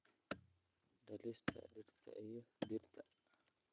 dhalista dhirta iyo dhirta.